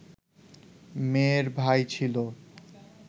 মেয়ের ভাই ছিল